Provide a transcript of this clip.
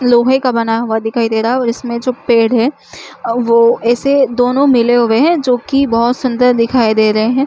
लोहे का बना हुआ दिखाई दे रहा है और इसमें जो पेड़ है वो ऐसे दोनों मिले हुए है जो की बहोत सुन्दर दिखाई दे रहे है।